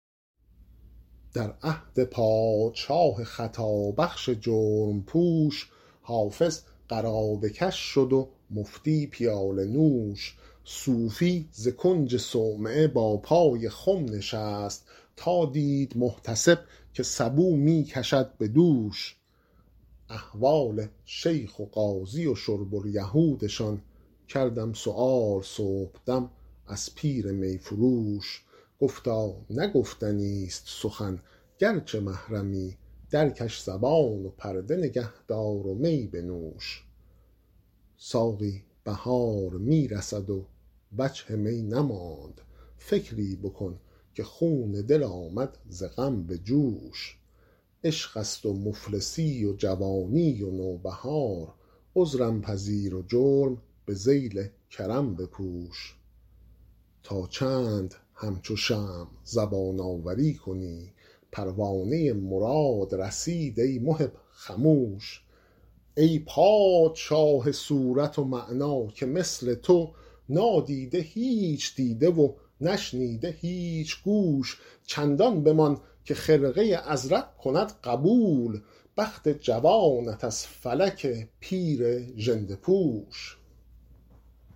در عهد پادشاه خطابخش جرم پوش حافظ قرابه کش شد و مفتی پیاله نوش صوفی ز کنج صومعه با پای خم نشست تا دید محتسب که سبو می کشد به دوش احوال شیخ و قاضی و شرب الیهودشان کردم سؤال صبحدم از پیر می فروش گفتا نه گفتنیست سخن گرچه محرمی درکش زبان و پرده نگه دار و می بنوش ساقی بهار می رسد و وجه می نماند فکری بکن که خون دل آمد ز غم به جوش عشق است و مفلسی و جوانی و نوبهار عذرم پذیر و جرم به ذیل کرم بپوش تا چند همچو شمع زبان آوری کنی پروانه مراد رسید ای محب خموش ای پادشاه صورت و معنی که مثل تو نادیده هیچ دیده و نشنیده هیچ گوش چندان بمان که خرقه ازرق کند قبول بخت جوانت از فلک پیر ژنده پوش